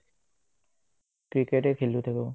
ক্ৰিকেটেয়ে খেলি থাকো